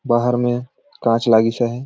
बाहर में काँच लागीस आहय।